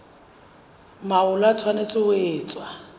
mahola e tshwanetse ho etswa